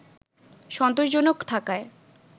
সন্তোষজনক থাকায়